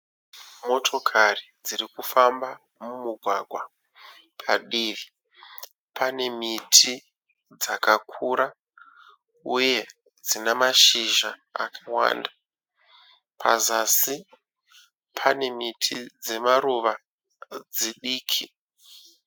Motokari dziri kufamba mumugwagwa, padivi pane miti dzakakura uye dzina mashizha akawanda pazasi pane miti dzemaruva dzidiki.